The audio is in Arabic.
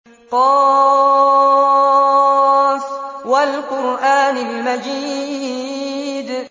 ق ۚ وَالْقُرْآنِ الْمَجِيدِ